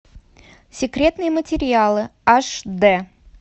секретные материалы аш дэ